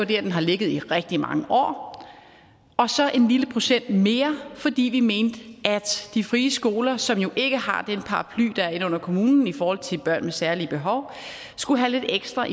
der den har ligget i rigtig mange år og så en lille procent mere fordi vi mente at de frie skoler som jo ikke har den paraply der er inde under kommunen i forhold til børn med særlige behov skulle have lidt ekstra